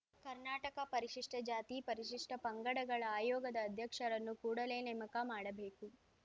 ಕರ್ನಾಟಕ ಪರಿಶಿಷ್ಟ ಜಾತಿ ಪರಿಶಿಷ್ಟ ಪಂಗಡಗಳ ಆಯೋಗದ ಅಧ್ಯಕ್ಷರನ್ನು ಕೂಡಲೇ ನೇಮಕ ಮಾಡ‌ಬೇಕು